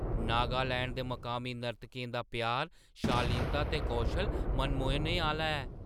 नागालैंड दे मकामी नर्तकें दा प्यार, शालीनता ते कौशल मनमोह्‌ने आह्‌ला ऐ।